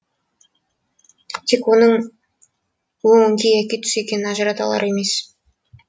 тек оның өң яки түс екенін ажырата алар емес